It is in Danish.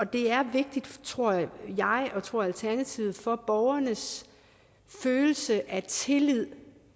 det er vigtigt tror jeg og tror alternativet for borgernes følelse af tillid